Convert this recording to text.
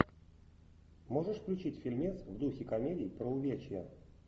можешь включить фильмец в духе комедий про увечья